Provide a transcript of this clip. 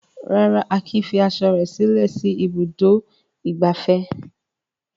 Rárá, Akin fi aṣọ rẹ̀ sílẹ̀ sí Ibùdó-ìgbafẹ́.